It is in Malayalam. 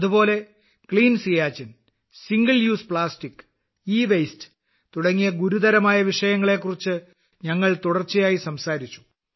അതുപോലെ clean Siachen single use plastic ഇവാസ്തെ തുടങ്ങിയ ഗുരുതരമായ വിഷയങ്ങളെക്കുറിച്ച് ഞങ്ങൾ തുടർച്ചയായി സംസാരിച്ചു